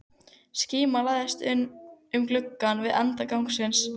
Skíma læðist inn um glugga við enda gangsins.